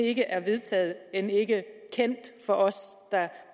ikke er vedtaget og end ikke er kendt for os der